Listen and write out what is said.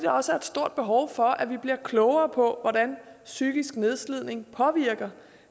også er et stort behov for at vi bliver klogere på hvordan psykisk nedslidning påvirker